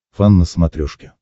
фан на смотрешке